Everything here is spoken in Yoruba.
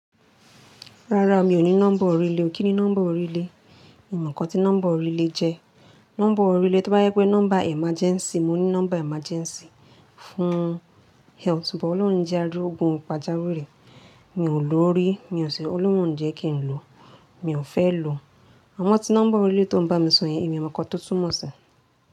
Rárá, mi ò ní nọ́mbà orílẹ̀. Kí ni nọ́mbà orílẹ̀? Èmi mọ̀ nǹkan tí nọ́mbà orílẹ̀ jẹ́. Nọ́mbà orílẹ̀ tó bá yẹ pé nọ́mbà emergency. Mo ní nọ́mbà emergency fún health, bo O'loun o ni je arogun pajawiri. Mi ò lò ó rí, mi ò ṣẹ̀, ó'lóuń o jẹ́ kí n lò. Mi ò fẹ́ lò. Àmo tí nọ́mbà orílẹ̀ tó ń bá mi sọ̀ yeń, èmi o mọ̀ nkan tó túmọ̀ sí.